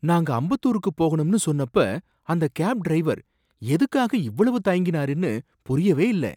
நாங்க அம்பத்தூருக்கு போகணும்னு சொன்னப்ப அந்த கேப் டிரைவர் எதுக்காக இவ்வளவு தயங்கினாருனு புரியவே இல்லை.